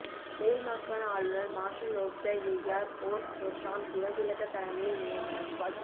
மேல்மாகாண ஆளுநர் marshal of the air force Roshan Gunathilaka தலைமையில் நியமனம்